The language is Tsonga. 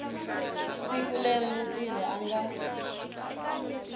siku leri mutirhi a nga